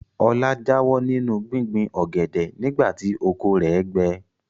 Ọlá jáwọ́ nínú gbíngbin ọ̀gẹ̀dẹ̀ nìgbà tí oko rẹ̀ gbẹ.